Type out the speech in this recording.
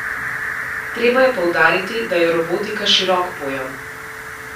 Treba je poudariti, da je robotika širok pojem.